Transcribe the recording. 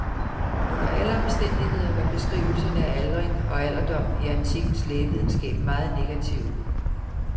Under alle omstændigheder var beskrivelserne af aldring og alderdom i antikkens lægevidenskab meget negative.